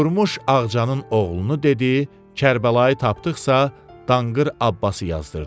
Durmuş Ağcanın oğlunu dedi, Kərbəlayı tapdıqsa, Danqır Abbası yazdırdı.